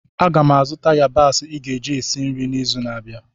Aga m azụta yabasị ị ga-eji esi nri izu na-abịa